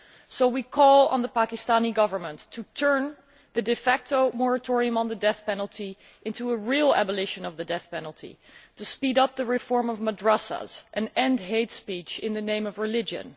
So we call on the Pakistani Government to turn the de facto moratorium on the death penalty into a real abolition of the death penalty, to speed up the reform of madrasas and end hate speech in the name of religion.